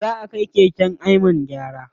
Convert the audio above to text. Zaʼa kai keken Ayman gyara.